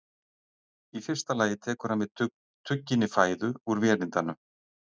Í fyrsta lagi tekur hann við tugginni fæðu úr vélindanu.